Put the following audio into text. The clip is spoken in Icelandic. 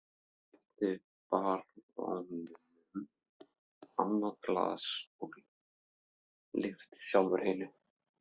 Hann rétti baróninum annað glasið, lyfti sjálfur hinu.